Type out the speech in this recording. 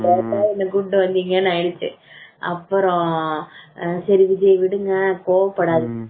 ஏன்டா என்ன கூப்பிடு வந்தீங்கன்னு ஆயிடுச்சு அப்புறம் சரி விஜய் விடுங்க கோபப்படாதீங்க